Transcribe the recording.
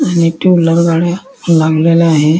आणि two wheeler गाड्या लागलेल्या आहे.